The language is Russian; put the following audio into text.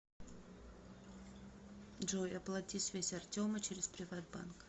джой оплати связь артема через приват банк